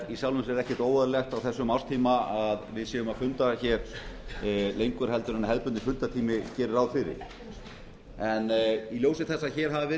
sjálfu sér ekkert óeðlilegt á þessum árstíma að við fundum hér lengur en hefðbundinn fundartími gerir ráð fyrir en í ljósi þess að hér hafa verið